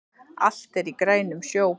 Allt er í grænum sjó